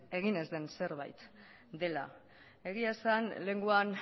egin ez den zerbait dela egia esan lehengoan